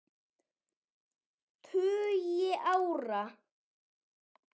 tugi ára.